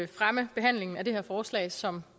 fremme behandlingen af det her forslag som